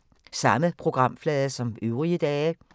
Samme programflade som øvrige dage